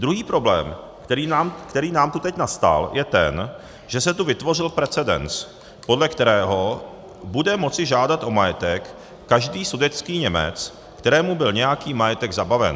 Druhý problém, který nám tu teď nastal, je ten, že se tu vytvořil precedens, podle kterého bude moci žádat o majetek každý sudetský Němec, kterému byl nějaký majetek zabaven.